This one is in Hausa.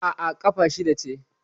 Aa, ƙafa shida ce